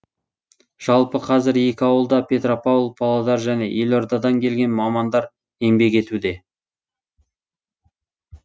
жалпы қазір екі ауылда петропавл павлодар және елордадан келген мамандар еңбек етуде